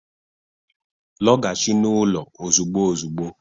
Lọghachi n'ụlọ ozugbo ozugbo